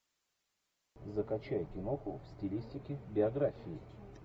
закачай киноху в стилистике биографии